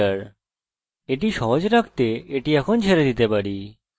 এটিকে সহজ রাখার জন্য এখন একে ছেড়ে দিতে পারি